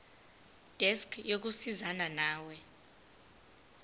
desk yokusizana nawe